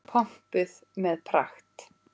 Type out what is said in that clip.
Pompuð með pragt.